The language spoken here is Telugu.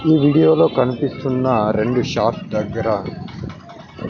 ఈ వీడియో లో కనిపిస్తున్న రెండు షాప్ దగ్గర--